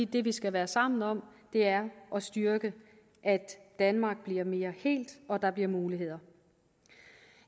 det vi skal være sammen om er at styrke at danmark bliver mere helt og at der bliver muligheder